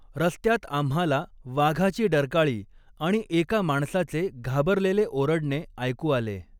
रस्त्यात आम्हाला वाघाची डरकाळी आणि एका माणसाचे घाबरलेले ओरडणे ऐकू आले.